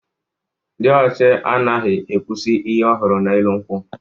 Dị ọchị anaghị ekwusi ihe ọ hụrụ n'elu nkwọ.